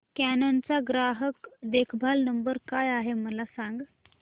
canon चा ग्राहक देखभाल नंबर काय आहे मला सांग